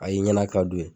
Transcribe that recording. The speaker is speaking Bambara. A y'i ɲɛna ka don